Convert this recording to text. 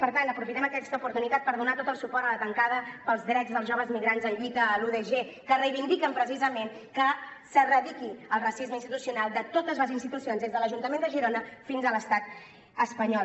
per tant aprofitem aquesta oportunitat per donar tot el suport a la tancada pels drets dels joves migrants en lluita a la udg que reivindiquen precisament que s’erradiqui el racisme institucional de totes les institucions des de l’ajuntament de girona fins a l’estat espanyol